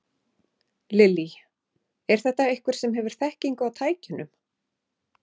Lillý: Er þetta einhver sem hefur þekkingu á tækjunum?